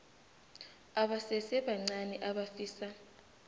abasese bancani abafisa